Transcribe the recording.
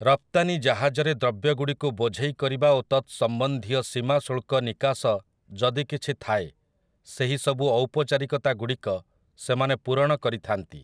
ରପ୍ତାନି ଜାହାଜରେ ଦ୍ରବ୍ୟଗୁଡ଼ିକୁ ବୋଝେଇ କରିବା ଓ ତତ୍ ସମ୍ବନ୍ଧୀୟ ସୀମାଶୁଳ୍କ ନିକାଶ ଯଦି କିଛି ଥାଏ ସେହିସବୁ ଔପଚାରିକତା ଗୁଡ଼ିକ ସେମାନେ ପୂରଣ କରିଥାନ୍ତି ।